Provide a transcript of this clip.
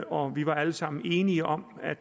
og vi var alle sammen enige om at